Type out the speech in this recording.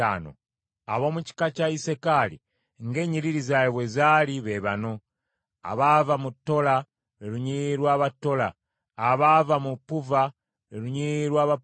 Ab’omu kika kya Isakaali ng’ennyiriri zaabwe bwe zaali, be bano: abaava mu Tola, lwe lunyiriri lw’Abatola; abaava mu Puva, lwe lunyiriri lw’Abapuva;